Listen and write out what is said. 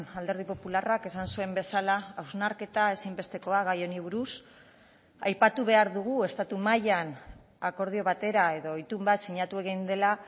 alderdi popularrak esan zuen bezala hausnarketa ezinbestekoa gai honi buruz aipatu behar dugu estatu mailan akordio batera edo itun bat sinatu egin dela